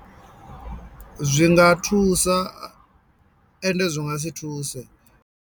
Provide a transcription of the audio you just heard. Zwi nga thusa ende zwi nga si thuse.